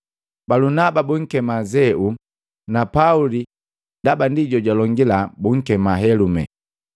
Balunaba bunkema Zeu, na Pauli ndaba ndi jojulongila bunkema, Helume.